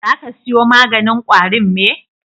Za ka siyo maganin ƙwarin me?